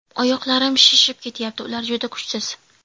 Oyoqlarim shishib ketyapti, ular juda kuchsiz.